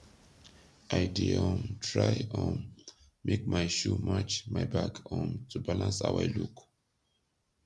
i dey um try um make mai shoe match mai bag um to balance how i look